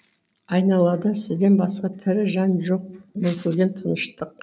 айналада сізден басқа тірі жан жоқ мүлгіген тыныштық